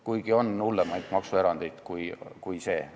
Kuigi jah, on hullemaid maksuerandeid kui see pakutu.